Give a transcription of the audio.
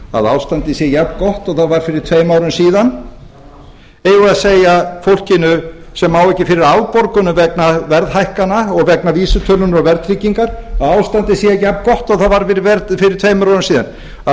að ástandið sé jafngott og það var fyrir tveim árum síðan eigum við að segja fólkinu sem á ekki fyrir afborgunum vegna verðhækkana og vegna vísitölunnar og verðtryggingar að ástandið sé jafngott og það var fyrir tveimur árum síðan að